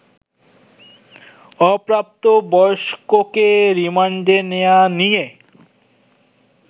অপ্রাপ্তবয়স্ককে রিমান্ডে নেয়া নিয়ে